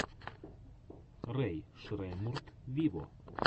рэй шреммурд виво